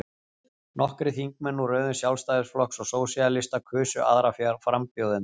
nokkrir þingmenn úr röðum sjálfstæðisflokks og sósíalista kusu aðra frambjóðendur